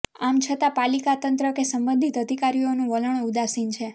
આમ છતાં પાલિકા તંત્ર કે સંબંધિત અધિકારીઓનું વલણ ઉદાસીન છે